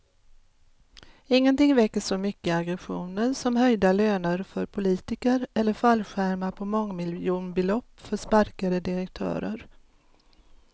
Ingenting väcker så mycket aggressioner som höjda löner för politiker eller fallskärmar på mångmiljonbelopp för sparkade direktörer.